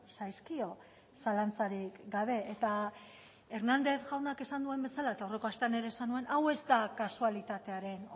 zaizkio zalantzarik gabe eta hernández jaunak esan duen bezala eta aurreko astean ere esan nuen hau ez da kasualitatearen